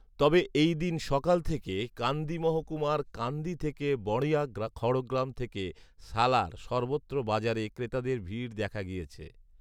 তবে এই দিন সকাল থেকে কান্দি মহকুমার কান্দি থেকে বড়ঞা, খড়গ্রাম থেকে সালার সর্বত্রই বাজারে ক্রেতাদের ভিড় দেখা গিয়েছে